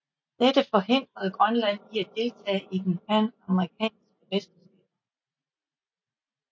Dette forhindrede Grønland i at deltage i det panamerikanske mesterskaber